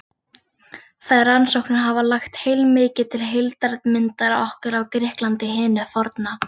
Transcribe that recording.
Þær rannsóknir hafa lagt heilmikið til heildarmyndar okkar af Grikklandi hinu forna.